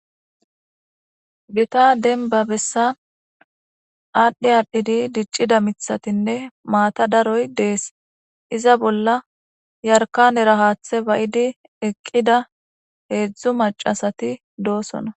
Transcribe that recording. Gita denba besa adhi adhi dicida mitatine matati daroy des iza bola yarikane haththe baidi eqida heedzdzu maca asati deosona.